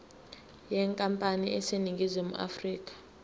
yenkampani eseningizimu afrika